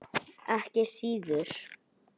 Ekki síður.